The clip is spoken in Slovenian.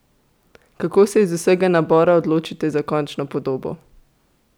Kako se iz vsega nabora odločite za končno podobo?